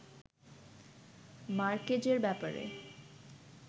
মার্কেজের ব্যাপারে